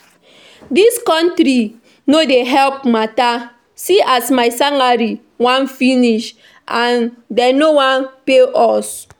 Dis country no dey help matter, see as my salary wan finish and dey no wan pay us